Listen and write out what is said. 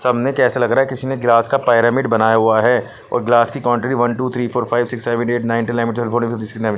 सबने कैसा लग रहा है किसी ने ग्लास का पाइरामिड बनाया हुआ है और ग्लास की quantity one two three four five six seven eight nine ten eleven twelve thirteen fourteen fifteen sixteen --